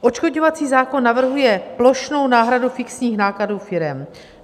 Odškodňovací zákon navrhuje plošnou náhradu fixních nákladů firem.